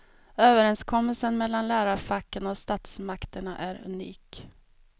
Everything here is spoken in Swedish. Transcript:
Överenskommelsen mellan lärarfacken och statsmakterna är unik.